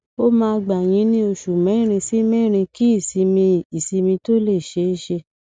ó máa gba yín ní òṣù mẹrin sí mẹrin kí ìsinmi ìsinmi tó lè ṣeé ṣe